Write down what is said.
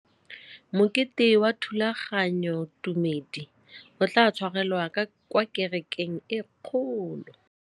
Mokete wa thulaganyôtumêdi o tla tshwarelwa kwa kerekeng e kgolo.